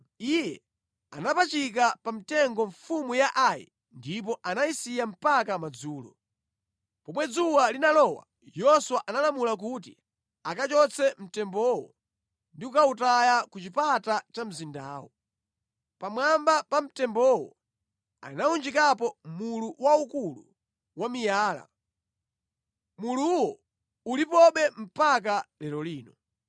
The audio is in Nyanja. Iye anapachika pa mtengo mfumu ya Ai ndipo anayisiya mpaka madzulo. Pomwe dzuwa linalowa Yoswa analamula kuti akachotse mtembowo ndi kukawutaya ku chipata cha mzindawo. Pamwamba pa mtembowo anawunjikapo mulu waukulu wa miyala. Muluwo ulipobe mpaka lero lino.